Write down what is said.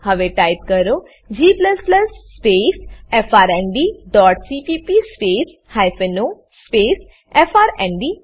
હવે ટાઈપ કરો g space F R N D dot CPP space hyphen O space F R N D